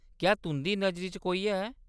क्या तुंʼदी नजरी च कोई है ?